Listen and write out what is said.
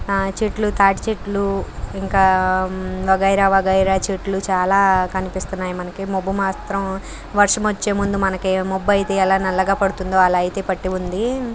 ఆ చెట్లు తాటి చెట్లు ఇంకా వగైరా వగైరా చెట్లు చాలా కనిపిస్తున్నాయి మనకి. మబ్బు మాత్రం వర్షం వచ్చే ముందు మనకి మబ్బు అయితే ఎలా నల్లగా పడుతుందో అలా అయితే పట్టి ఉంది.